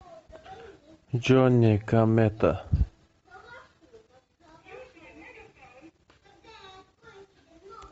джонни комета